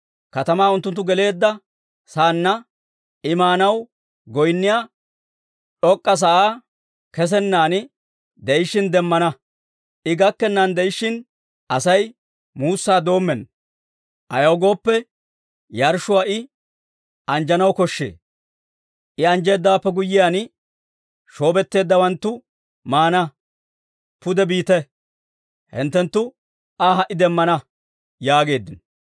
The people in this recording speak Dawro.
Katamaa unttunttu geleedda saanna, I maanaw goynniyaa d'ok'k'a sa'aa kesenan de'ishshin demmana. I gakkennan de'ishshin, Asay muussaa doommenna; ayaw gooppe, yarshshuwaa I anjjanaw koshshee. I anjjeedawaappe guyyiyaan, shoobetteeddawanttu maana. Pude biite; hinttenttu Aa ha"i demmana» yaageeddino.